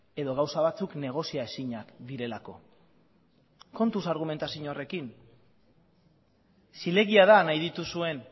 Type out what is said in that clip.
edo gauza batzuk negozia ezinak direlako kontuz argumentazio horrekin zilegia da nahi dituzuen